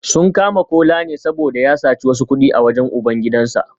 Sun kama Kola ne saboda ya saci wasu kudi a wajen ubangidansa